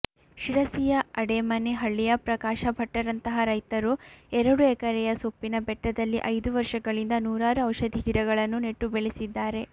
ಶಿರಸಿಯ ಅಡೇಮನೆ ಹಳ್ಳಿಯ ಪ್ರಕಾಶ ಭಟ್ಟರಂಥ ರೈತರು ಎರಡು ಎಕರೆಯ ಸೊಪ್ಪಿನ ಬೆಟ್ಟದಲ್ಲಿ ಐದು ವರ್ಷಗಳಿಂದ ನೂರಾರು ಔಷಧಿಗಿಡಗಳನ್ನು ನೆಟ್ಟುಬೆಳೆಸಿದ್ದಾರೆ